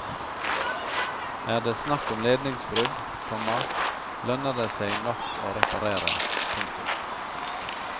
Er det snakk om ledningsbrudd, komma lønner det seg nok å reparere. punktum